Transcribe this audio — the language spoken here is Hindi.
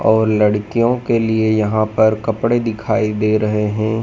और लड़कियों के लिए यहां पर कपड़े दिखाई दे रहे हैं।